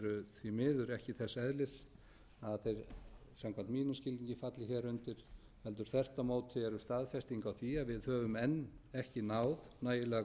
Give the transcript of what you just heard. því miður ekki þess eðlis að þeir samkvæmt mínum skilningi falli hér undir heldur þvert á móti eru staðfesting á því að við höfum enn ekki náð nægilega